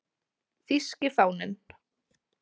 Þýski fáninn